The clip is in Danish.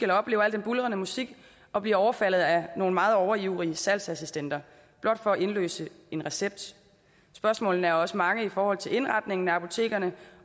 oplever alt den buldrende musik og bliver overfaldet af nogle meget overivrige salgsassistenter blot for at indløse en recept spørgsmålene er også mange i forhold til indretningen af apotekerne